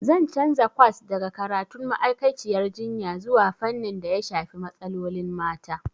Zan canza kwas daga karatun ma'aikaciyar jinya zuwa fannin daya shafi matsalolin mata.